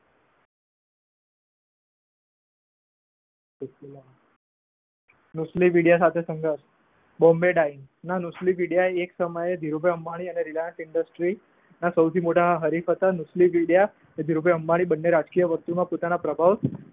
નુસ્લી બોમ્બે ડાઈમ ના નુસ્લી વિદયાએ એક સમયે ધીરુભાઈ અંબાણી અને રિલાયન્સ ઇન્ડેસ્ત્રીના સૌ થી મોટા હરીફ હતા નુસ્લીવોડિયા ધીરુ ભાઈ અંબાણી બને રાજકીય વસ્તુમાં પોતાના પ્રભાવ